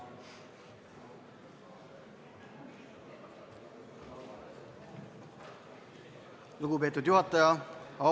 Lugupeetud juhataja!